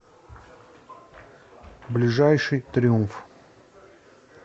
ближайший триумф